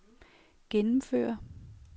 gennemføre